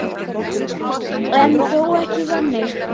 En þó ekki þannig.